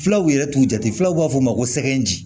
Fulaw yɛrɛ t'u jate fulaw b'a fɔ o ma ko sɛgɛn ji